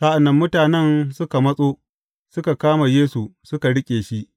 Sa’an nan mutanen suka matso, suka kama Yesu suka riƙe shi.